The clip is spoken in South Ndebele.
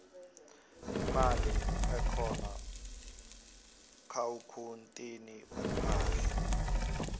imali ehkona kuakhuwuntini yeempahla